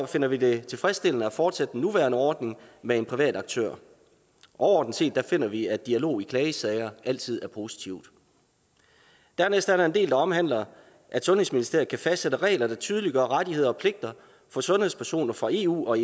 finder vi det tilfredsstillende at fortsætte den nuværende ordning med en privat aktør overordnet set finder vi at dialog i klagesager altid er positivt dernæst er der en del der omhandler at sundhedsministeriet kan fastsætte regler der tydeliggør rettigheder og pligter for sundhedspersoner fra eu og